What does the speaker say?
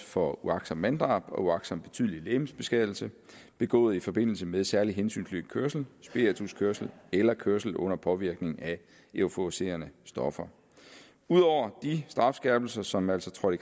for uagtsomt manddrab og uagtsom betydelig legemsbeskadigelse begået i forbindelse med særlig hensynsløs kørsel spirituskørsel eller kørsel under påvirkning af euforiserende stoffer ud over de strafskærpelser som altså trådte